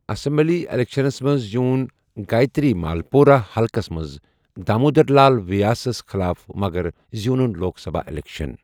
Assembly الیکشنس منٛز زیوٗن گایتری مالپورہ حلقس منٛز دامودر لال ویاسس خٕلاف مگر زیوٗنُن لوک سبھا اِلیکشن۔